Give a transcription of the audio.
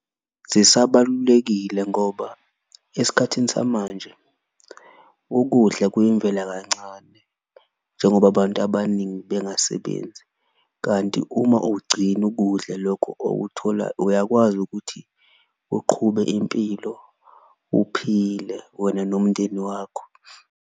Zisabalulekile ngoba esikhathini samanje ukudla kuyimvela kancane njengoba abantu abaningi bengasebenzi, kanti uma uwugcina ukudla lokho . Uyakwazi ukuthi uqhube impilo uphile wena nomndeni wakho.